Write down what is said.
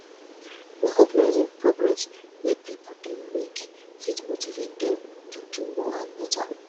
recognizing progress wey pipo dey make fit motive dem to do more and better